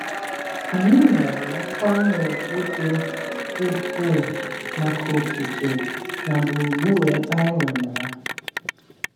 Anyị nwere nkwanye ùgwù dị ukwuu maka okike na gburugburu ebe anyị nọ na ya.